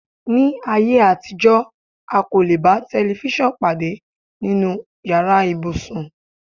Ní ayé àtijọ́, a kò lè bá tẹlifísàn pàdé nínú yàrá ibùsùn